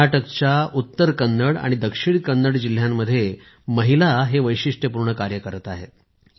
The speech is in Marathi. कर्नाटकच्या उत्तर कन्नड आणि दक्षिण कन्नड जिल्ह्यांमध्ये महिला हे वैशिष्ट्यपूर्ण कार्य करत आहेत